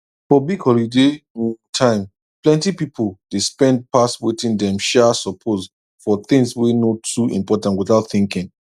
for big holiday um time plenty people dey spend pass wetin dem um suppose for things wey no too important without thinking